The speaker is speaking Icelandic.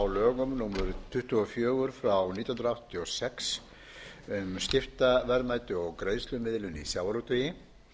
lögum númer tuttugu og fjögur nítján hundruð áttatíu og sex um skiptaverðmæti og greiðslumiðlun í sjávarútvegi